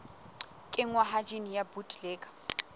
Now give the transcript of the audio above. kenngwa ha jine ya bt